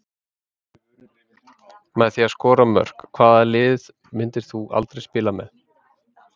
Með því að skora mörk Hvaða liði myndir þú aldrei spila með?